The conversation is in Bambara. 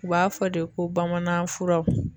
U b'a fɔ de ko bamanan furaw